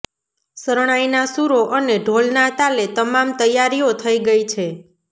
શરણાઈના શૂરો અને ઢોલના તાલે તમામ તૈયારીઓ થઈ ગઈ છે